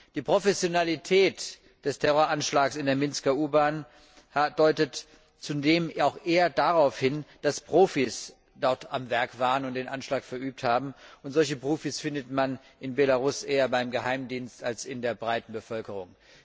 Die Professionalität des Terroranschlags in der Minsker U Bahn deutet zudem auch eher darauf hin, dass Profis dort am Werk waren und den Anschlag verübt haben, und solche Profis findet man in Belarus eher beim Geheimdienst als in der breiten Bevölkerung.